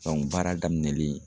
baara daminɛlen